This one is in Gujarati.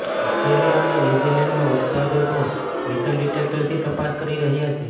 ઓસ્ટ્રેલિયા અને ન્યૂઝિલેન્ડમાં ઉત્પાદકો મેટલ ડિટેક્ટરથી તપાસ કરી રહ્યાં છે